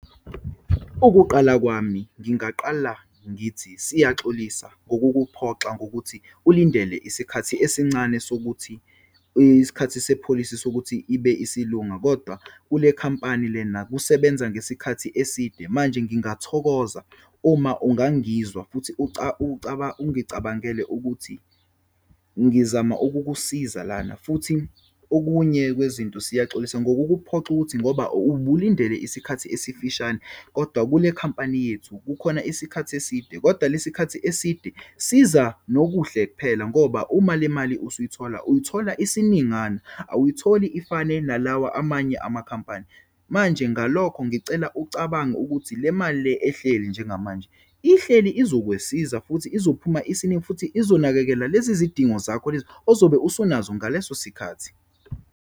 Ukuqala kwami, ngingaqala ngithi, siyaxolisa ngokukuphoxa ngokuthi ulindele isikhathi esincane sokuthi isikhathi sepholisi sokuthi ibe isilunga, kodwa kule khampani lena kusebenza ngesikhathi eside. Manje ngingathokoza uma ungangizwa futhi ungicabangele ukuthi ngizama ukukusiza lana. Futhi okunye kwezinto, siyaxolisa ngokukuphoxa ukuthi ngoba ubulindele isikhathi esifishane, kodwa kule khampani yethu kukhona isikhathi eside. Kodwa lesikhathi eside siza nokuhle kuphela ngoba uma le mali usuyithola, uyithola isiningana, awuyitholi ifane nalawa amanye amakhampani. Manje, ngalokho ngicela ucabange ukuthi le mali le ehleli njengamanje ihleli izokwesiza, futhi izophuma isiningi, futhi izonakekela lezizidingo zakho lezi ozobe usunazo ngaleso sikhathi.